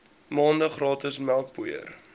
maande gratis melkpoeier